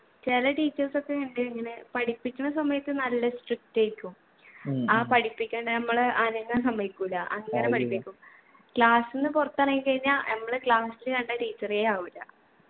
ചില teachers ഒക്കെ ഇണ്ട് ഇങ്ങനെ പഠിപിക്ക്ന്ന സമയത്ത് നല്ല strict ആയിരിക്കും ആ പഠിപ്പിക്കണ്ട നമ്മളെ അനങ്ങാൻ സമ്മയിക്കൂല അങ്ങനെ പഠിപ്പിക്കും class ന്ന് പുറത്തിറങ്ങിക്കഴിഞ്ഞാ നമ്മള് class ല് കണ്ട teacher എ ആവൂല